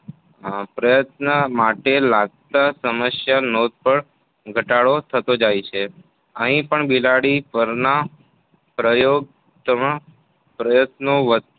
પ્રયત્ન માટે લાગતા સમધમાં નોંધપાત્ર ઘટાડો થતો જાય છે. અહીં પણ બિલાડી પરના પ્રયોગાત્મક પ્રયત્ની વધતી